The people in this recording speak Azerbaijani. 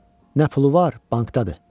Nə pulu var, bankdadır.